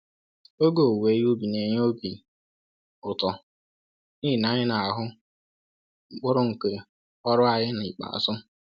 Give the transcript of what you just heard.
Oge owuwe ihe ubi n'enye obi ụtọ n'ihi na anyị n'ahụ mkpụrụ nke ọrụ anyị n'ikpeazụ.